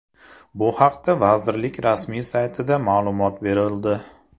Bu haqda vazirlik rasmiy saytida ma’lumot berildi .